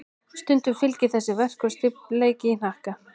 Stundum fylgir þessu verkur og stífleiki í hnakka.